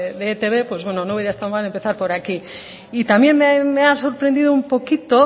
de etb pues bueno no hubiera estado mal empezar por aquí y también me ha sorprendido un poquito